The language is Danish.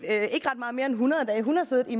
ikke ret meget mere end hundrede dage hun har siddet i